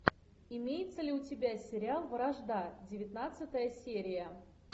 имеется ли у тебя сериал вражда девятнадцатая серия